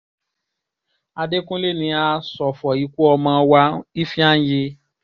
àdẹkùnlé ni a ṣọ̀fọ̀ ikú ọmọ wa ifeanyi